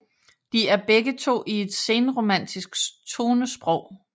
De er begge to i et senromantisk tonesprog